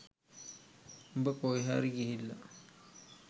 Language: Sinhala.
උඹ කොහේ හරි ගිහිල්ලා